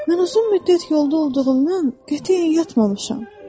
Mən uzun müddət yolda olduğundan qətiyyən yatmamışam.